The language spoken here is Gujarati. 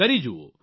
કરી જુઓ